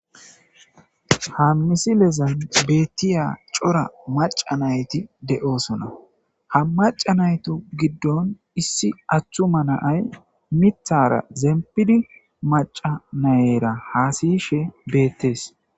Ha milezan betiza c'ora macha nayti de'osona hamac'a natu gidon issi attuma na'ayi mithara zinpidi mac'a nayira hasayishe betes.